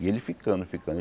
E ele ficando, ficando.